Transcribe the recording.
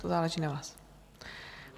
To záleží na vás.